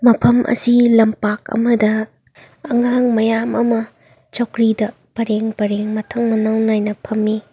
ꯃꯐꯝ ꯑꯁꯤ ꯂꯝꯄꯥꯛ ꯑꯃꯗ ꯑꯉꯥꯡ ꯃꯌꯥꯝ ꯑꯃ ꯆꯧꯀ꯭ꯔꯤꯗ ꯄꯔꯦꯡ ꯄꯔꯦꯡ ꯃꯊꯡ ꯃꯅꯥꯎ ꯅꯥꯏꯅ ꯐꯝꯃꯤ꯫